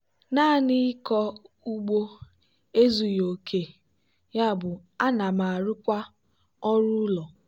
naanị ịkọ ugbo ezughi oke yabụ ana m arụkwa ọrụ ụlọ.